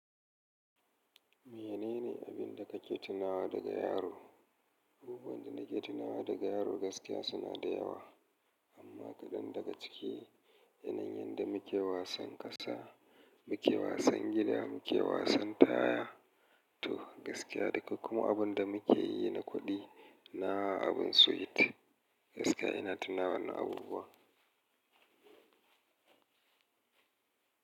Menene abin da ka ke tunawa daga yaro? Abubuwan da nake tunawa daga yaro gaskiya suna da yawa. Amma kaɗan daga ciki, yanayin da muke wasan ƙasa, muke wasan gida, muke wasan taya, to gaskiya da kuma abin da muke yi na kuɗi. Na abin sweet. Gaskiya ina tuna wannan abubuwa.